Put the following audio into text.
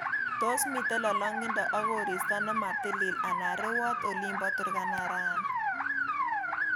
Tos miten lolongindo ak koristo nematilil anan rewot olin bo Turkana Rani